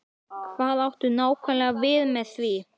Hvað áttu nákvæmlega við með því?